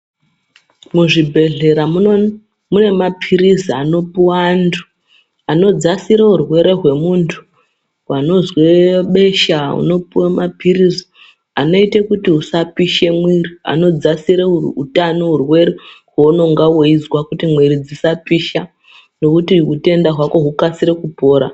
Muzvibhedhlera mune mapilizi anopiwa antu anodzasire urwere wemuntu anozwe besha unopiwa mapilizi anoita kuti usapishe muviri anodzasira uhwere hwaunenge wechizwa kuti muviri usapisha nekuti utenda hwako hukasire kupora.